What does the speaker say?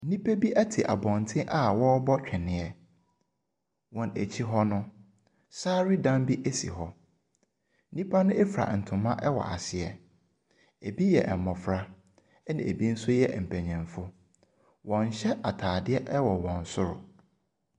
Nnipa bi te abɔnten a wɔrebɔ tweneɛ, wɔn akyi hɔ no, saredan bi si hɔ nnipa no fura ntama wɔ ase, bi yɛ mmofra na bi nso yɛ mpanimfo. Wɔnhyɛ ataadeɛ wɔ wɔn soro.